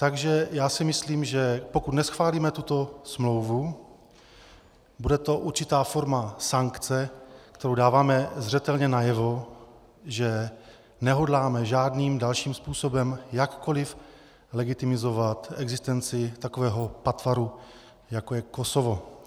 Takže já si myslím, že pokud neschválíme tuto smlouvu, bude to určitá forma sankce, kterou dáváme zřetelně najevo, že nehodláme žádným dalším způsobem jakkoli legitimizovat existenci takového patvaru, jako je Kosovo.